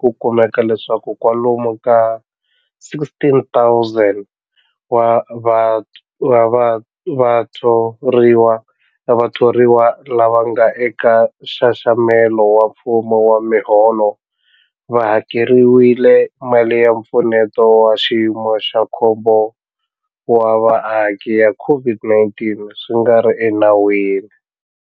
ku kumeka leswaku kwalomu ka 16,000 wa vathoriwa lava nga eka nxaxamelo wa mfumo wa miholo va hakeriwile mali ya Mpfuneto wa Xiyimo xa Khombo wa Vaaki ya COVID-19 swi nga ri enawini.